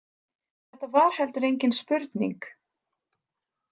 Þetta var heldur engin spurning.